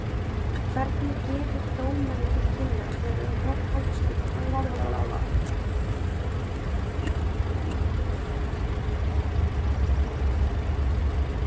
Hvernig gefur dómari til kynna þegar um hornspyrnu er að ræða?